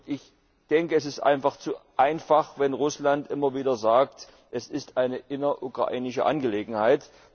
Ich denke, es ist einfach zu einfach, wenn Russland immer wieder sagt, dies sei eine innerukrainische Angelegenheit.